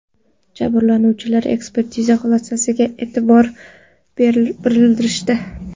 Jabrlanuvchilar ekspertiza xulosasiga e’tiroz bildirishdi.